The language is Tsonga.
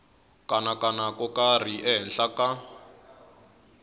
kanakana ko karhi ehenhla ka